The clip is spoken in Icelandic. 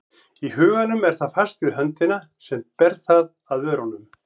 Í huganum er það fast við höndina sem ber það að vörunum.